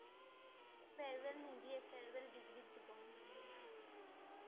Farewell নিদিয়ে। farewell ডিগ্ৰীত দিব । ডিগ্ৰী l last অত।